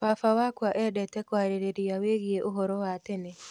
Baba wakwa endete kũarĩrĩria wĩgiĩ ũhoro wa tene.